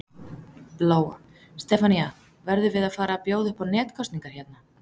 Lóa: Stefanía, verðum við að fara að bjóða upp á netkosningar hérna?